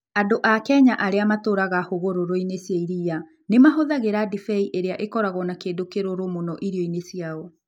Andũ a Kenya arĩa matũũraga hũgũrũrũ-inĩ cia iria nĩ mahũthagĩra ndibei ĩrĩa ĩkoragwo na kĩndũ kĩrũrũ mũno irio-inĩ ciao.